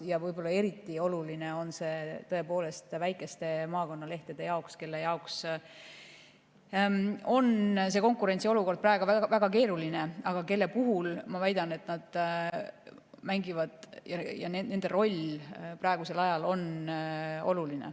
Ja võib-olla eriti oluline on see väikestele maakonnalehtedele, kelle jaoks on konkurentsiolukord praegu väga keeruline, aga kelle roll praegusel ajal on oluline.